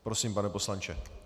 Prosím, pane poslanče.